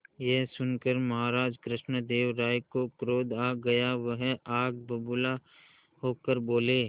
यह सुनकर महाराज कृष्णदेव राय को क्रोध आ गया वह आग बबूला होकर बोले